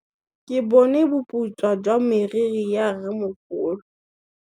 Ke bone boputswa jwa meriri ya rrêmogolo.